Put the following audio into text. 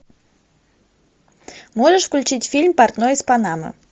можешь включить фильм портной из панамы